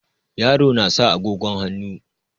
Yaro na sa agogon hannu.